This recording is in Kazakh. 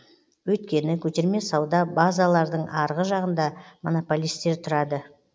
өйткені көтерме сауда базалардың арғы жағында монополистер тұрады